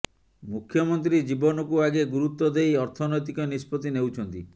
ମୁଖ୍ୟମନ୍ତ୍ରୀ ଜୀବନକୁ ଆଗେ ଗୁରୁତ୍ୱ ଦେଇ ଅର୍ଥନୈତିକ ନିଷ୍ପତ୍ତି ନେଉଛନ୍ତି